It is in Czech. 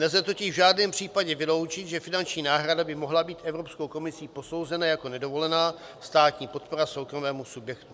Nelze totiž v žádném případě vyloučit, že finanční náhrada by mohla být Evropskou komisí posouzena jako nedovolená státní podpora soukromému subjektu.